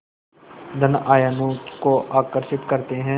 धन आयनों को आकर्षित करते हैं